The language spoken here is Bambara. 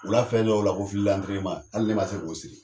U la fɛn dɔ y'u la ko filantrema, hali ne ma se k'o siri.